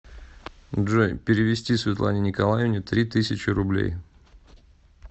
джой перевести светлане николаевне три тысячи рублей